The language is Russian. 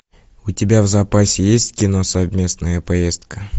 у тебя в запасе есть кино совместная поездка